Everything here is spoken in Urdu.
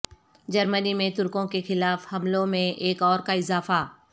جرمنی میں ترکوں کے خلاف حملوں میں ایک اور کا اضافہ